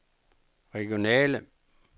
regionale